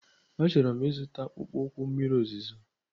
Achọrọ m ịzụta akpụkpọ ụkwụ mmiri ozuzo.